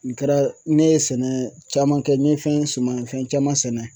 Nin kɛra ne ye sɛnɛ caman kɛ n ye fɛn sumanfɛn caman sɛnɛ.